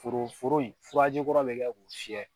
Foro foro in furaji kɔrɔ bɛ kɛ k'u fiyɛ.